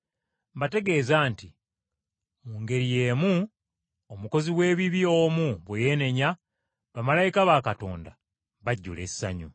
Mbategeeza nti mu ngeri y’emu omukozi w’ebibi omu bwe yeenenya, bamalayika ba Katonda bajjula essanyu.”